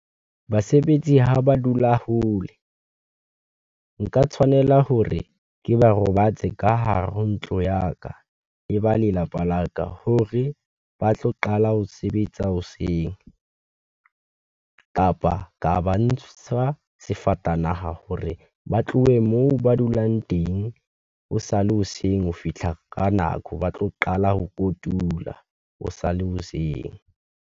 Basebetsi ha ba dula hole, nka tshwanela hore ke ba robatse ka hare ho ntlo ya ka, le ba lelapa la ka hore ba tlo qala ho sebetsa hoseng, kapa ka ba ntsha sefatanaha hore ba tlohe moo ba dulang teng. Ho sale hoseng ho fihla ka nako, ba tlo qala ho kotula, ho sale hoseng.